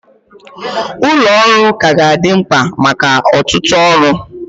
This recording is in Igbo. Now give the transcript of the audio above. Ụlọ ọrụ ka ga-adị mkpa maka ọtụtụ ọrụ